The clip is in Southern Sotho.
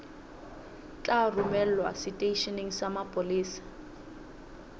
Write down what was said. tla romelwa seteisheneng sa mapolesa